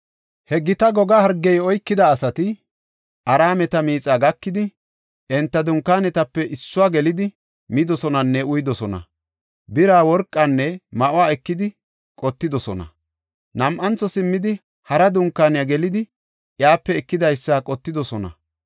He gita goga hargey oykida asati Araameta miixaa gakidi, enta dunkaanetape issuwa gelidi, midosonanne uyidosona; bira, worqanne ma7o ekidi qottidosona. Nam7antho simmidi, hara dunkaaniya, gelidi iyape ekidaysa qottidosona.